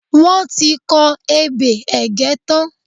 Wọ́n ti kọ ebè Ẹ̀gẹ́ tán.